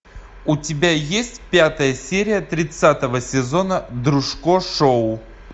у тебя есть пятая серия тридцатого сезона дружко шоу